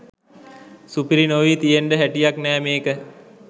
සුපිරි නොවී තියෙන්ඩ හැටියක් නෑ මේක.